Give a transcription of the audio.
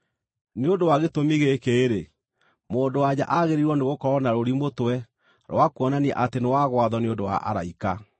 Nĩ ũndũ wa gĩtũmi gĩkĩ-rĩ, mũndũ-wa-nja agĩrĩirwo nĩgũkorwo na rũũri mũtwe rwa kuonania atĩ nĩ wa gwathwo nĩ ũndũ wa araika.